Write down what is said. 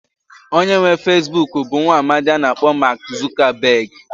Onye nwe Feesbuk bụ nwaamdi a na-akpọ Maak Zukabeg.